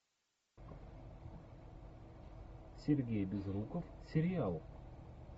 сергей безруков сериал